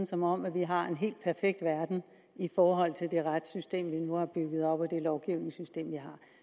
som om vi har en helt perfekt verden i forhold til det retssystem vi nu har bygget op og det lovgivningssystem vi